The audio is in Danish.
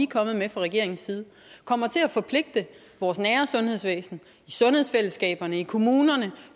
kommet med fra regeringens side kommer til at forpligte vores nære sundhedsvæsen i sundhedsfællesskaberne i kommunerne